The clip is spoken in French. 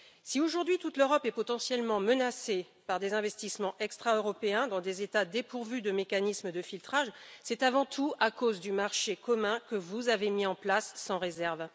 Si aujourd'hui toute l'Europe est potentiellement menacée par des investissements extra européens dans des États dépourvus de mécanismes de filtrage, c'est avant tout à cause du marché commun que vous avez mis en place, sans réserve.